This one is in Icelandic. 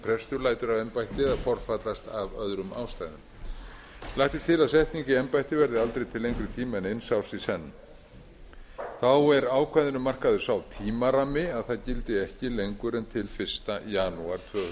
prestur lætur af embætti eða forfallast af öðrum ástæðum lagt er til að setning í embætti verði aldrei til lengri tíma en eins árs í senn þá er ákvæðinu markaður sá tímarammi að það gildi ekki lengur en til fyrsta janúar tvö þúsund